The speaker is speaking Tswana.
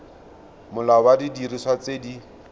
molao wa didiriswa tse di